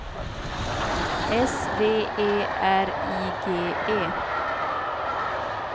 S V E R I G E